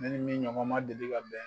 Ne nin min ɲɔgɔma deli ka bɛn